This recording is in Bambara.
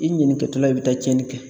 I ɲanikɛtɔla i bɛ taa cɛnni kɛ.